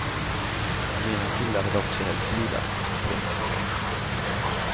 Mina killar hade också helst vilat. punkt